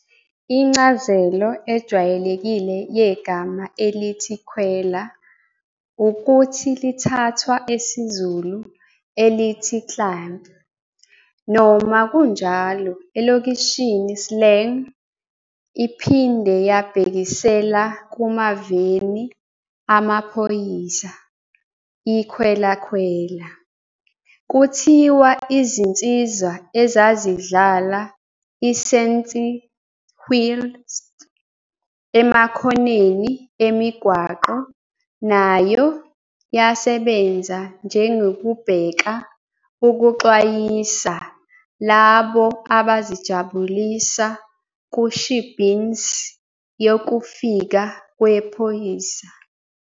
Incazelo ejwayelekile yegama elithi "khwela" ukuthi lithathwa esiZulu elithi "Climb", noma kunjalo elokishini slang iphinde yabhekisela kumaveni amaphoyisa, i"khwela-khwela". Kuthiwa izinsizwa ezazidlala isentiwhistle emakhoneni emigwaqo nayo yasebenza njengokubheka ukuxwayisa labo abazijabulisa ku-shebeens yokufika kwe amaphoyisa.